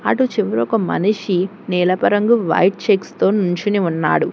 అటు చివ్ర ఒక మనిషి నీలపు రంగు వైట్ చెక్స్ తో నించుని ఉన్నాడు.